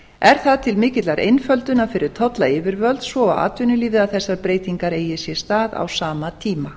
er það til mikillar einföldunar fyrir tollyfirvöld svo og atvinnulífið að þessar breytingar eigi sér stað á sama tíma